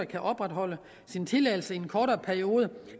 kan opretholde sin tilladelse i en kortere periode